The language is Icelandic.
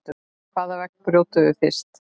Hvaða vegg brjótum við fyrst?